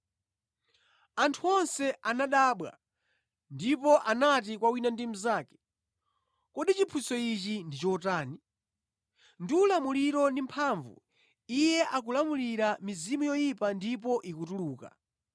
Anthu onse anadabwa ndipo anati kwa wina ndi mnzake, “Kodi chiphunzitso ichi ndi chotani? Ndi ulamuliro ndi mphamvu Iye akulamulira mizimu yoyipa ndipo ikutuluka!”